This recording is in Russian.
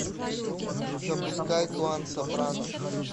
запускай клан сопрано